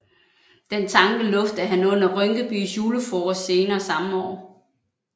Den tanke luftede han under Rynkebys julefrokost senere samme år